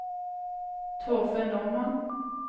Torfinn Normann